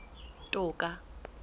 toka